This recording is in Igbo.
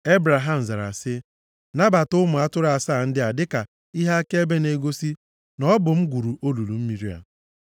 Ebraham zara sị, “Nabata ụmụ atụrụ asaa ndị a dịka ihe akaebe na-egosi na ọ bụ m gwuru olulu mmiri a.”